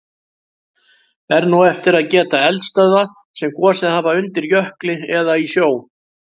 Er nú eftir að geta eldstöðva sem gosið hafa undir jökli eða í sjó.